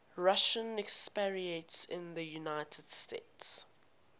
russian expatriates in the united states